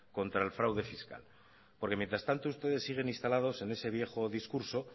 contra el fraude fiscal porque mientras tanto ustedes siguen instalados en ese viejo discurso